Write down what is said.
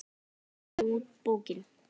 Um leið kom út bókin